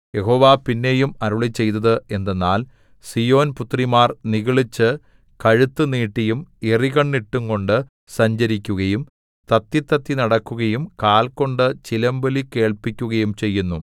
യഹോവ പിന്നെയും അരുളിച്ചെയ്തത് എന്തെന്നാൽ സീയോൻ പുത്രിമാർ നിഗളിച്ചു കഴുത്തു നീട്ടിയും എറികണ്ണിട്ടുംകൊണ്ടു സഞ്ചരിക്കുകയും തത്തിത്തത്തി നടക്കുകയും കാൽ കൊണ്ട് ചിലമ്പൊലി കേൾപ്പിക്കുകയും ചെയ്യുന്നു